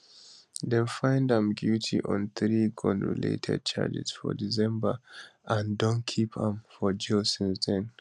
dem find am guilty on three gunrelated charges for december and don keep am for jail since den